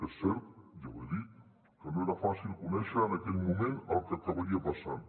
és cert ja ho he dit que no era fàcil conèixer en aquell moment el que acabaria passant